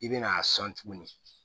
I bɛna a sɔn tuguni